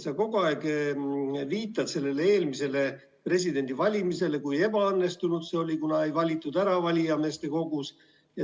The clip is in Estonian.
Sa kogu aeg viitad eelmistele presidendivalimistele, et kui ebaõnnestunud need olid, kuna presidenti ei valitud ära valijameeste kogus.